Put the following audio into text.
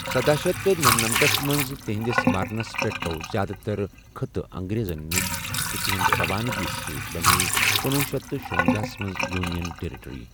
سدہَ شیتھ تہٕ نمَنمَتھَس منٛز تہنٛدِس مرنَس پٮ۪ٹھ گوٚو زیادٕ تر خٕطہٕ انگریزن نِش تہٕ تہنٛدِ رَوانگی سۭتۍ بَنے کنۄہ شیتھ تہٕ شُۄنزَہَس منٛز یونین ٹیریٹری۔